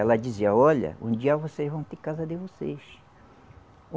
Ela dizia, olha, um dia vocês vão ter casa de vocês.